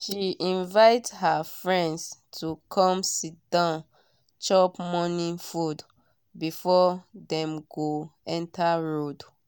she invite her friends to come sit down chop morning food before them go enter road